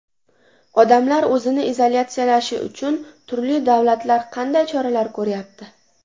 Odamlar o‘zini izolyatsiyalashi uchun turli davlatlar qanday choralar ko‘ryapti?